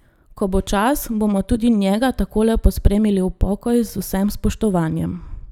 Ko bo čas, bomo tudi njega takole pospremili v pokoj z vsem spoštovanjem.